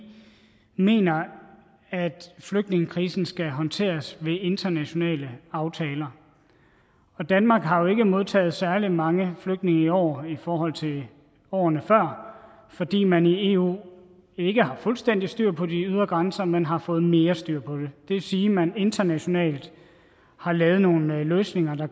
mener at flygtningekrisen skal håndteres ved internationale aftaler danmark har jo ikke modtaget særlig mange flygtninge i år i forhold til årene før fordi man i eu ikke har fuldstændig styr på de ydre grænser men har fået mere styr på dem det vil sige at man internationalt har lavet nogle løsninger der